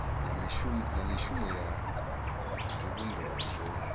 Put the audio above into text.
na mishumo ya zwivhumbeo zwo